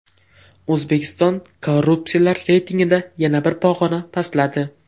O‘zbekiston korrupsiyalar reytingida yana bir pog‘ona pastladi.